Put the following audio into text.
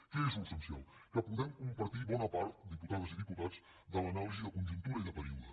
què és l’essencial que podem compartir bona part diputades i diputats de l’anàlisi de conjuntura i de període